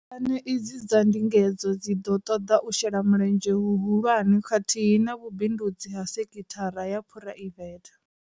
Puḽane idzi dza ndingedzo dzi ḓo ṱoḓa u shela mulenzhe huhu lwane khathihi na vhu bindudzi ha sekhithara ya phuraivethe.